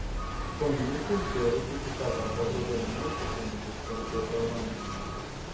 тоня не в курсе русификатор по-другому есть какой-нибудь кроме той программы